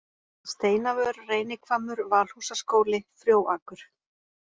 Steinavör, Reynihvammur, Valhúsaskóli, Frjóakur